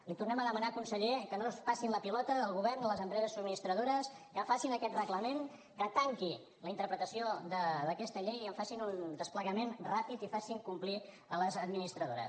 li tornem a demanar conseller que no es passin la pilota el govern i les empreses subministradores que facin aquest reglament que tanqui la interpretació d’aquesta llei i que en facin un desplegament ràpid i facin complir a les administradores